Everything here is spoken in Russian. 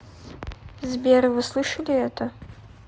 сбер вы слышали это